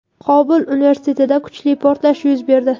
Qobul universitetida kuchli portlash yuz berdi.